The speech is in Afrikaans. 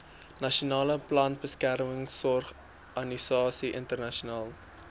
nasionale plantbeskermingsorganisasie internasionale